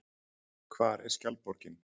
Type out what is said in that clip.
Hvar er skjaldborgin?